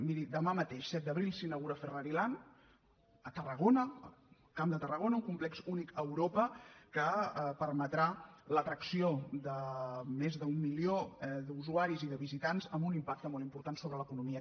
miri demà mateix set d’abril s’inaugura ferrari land a tarragona al camp de tarragona un complex únic a europa que permetrà l’atracció de més d’un milió d’usuaris i de visitants amb un impacte molt important sobre l’economia